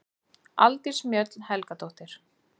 Aldís Mjöll Helgadóttir